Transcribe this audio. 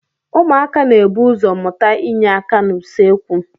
Ụmụaka na-ebu ụzọ mụta inye aka n'usekwu.